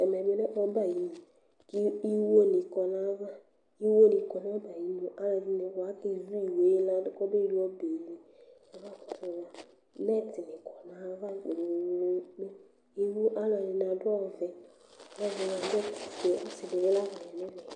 Ɛmɛ bilɛ ɔbɛ ayʋ inʋ kʋ iwo ni kɔnʋ ayʋ ava kʋ iwoni kɔnʋ ayʋ inʋ alʋɛdini kɔ kʋ akezʋ iwoyɛ ladʋ kɔbewi ɔbɛli, mɛtini kɔnʋ ayʋ ava kpe kpe kpe kʋ alʋɛdini adʋ ɔvɛ, kʋ alʋ ɛdini adʋ ofʋe kʋsi dibibla lɛnʋ ɛfɛ